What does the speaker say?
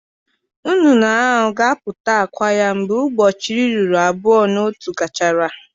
Nnụnụ ahụ ga-amụpụta àkwá ya mgbe ụbọchị iri abụọ na otu gachara.